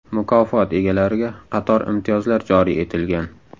Mukofot egalariga qator imtiyozlar joriy etilgan.